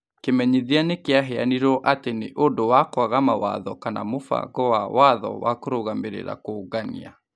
Kĩmenyithia nĩ kĩaheanirwo atĩ nĩ ũndũ wa kwaga mawatho kana mũbango wa watho wa kũrũgamĩrĩra kũũngania,